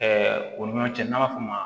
o ni ɲɔgɔn cɛ n'a b'a f'o ma